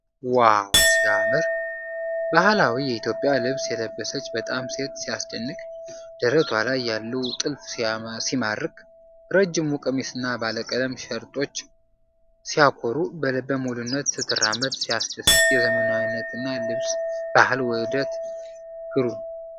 ዋው ሲያምር! ባህላዊ የኢትዮጵያ ልብስ የለበሰች ወጣት ሴት ሲያስደንቅ! ደረቷ ላይ ያለው ጥልፍ ሲማርክ! ረዥሙ ቀሚስና ባለቀለም ሸርጦች ሲያኮሩ! በልበ ሙሉነት ስትራመድ ሲያስደስት! የዘመናዊነትና ባህል ውህደት ግሩ